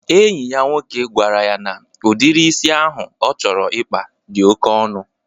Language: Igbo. Enyi ya nwoke gwara ya na udiri isi ahụ ọ chọrọ ịkpa di oke ọnụ.